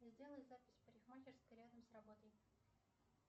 сделай запись в парикмахерской рядом с работой